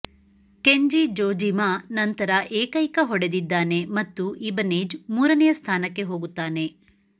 Kenji Jojima ನಂತರ ಏಕೈಕ ಹೊಡೆದಿದ್ದಾನೆ ಮತ್ತು ಇಬನೇಜ್ ಮೂರನೆಯ ಸ್ಥಾನಕ್ಕೆ ಹೋಗುತ್ತಾನೆ